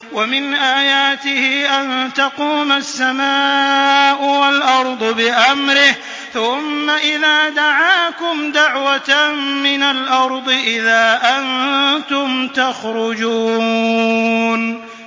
وَمِنْ آيَاتِهِ أَن تَقُومَ السَّمَاءُ وَالْأَرْضُ بِأَمْرِهِ ۚ ثُمَّ إِذَا دَعَاكُمْ دَعْوَةً مِّنَ الْأَرْضِ إِذَا أَنتُمْ تَخْرُجُونَ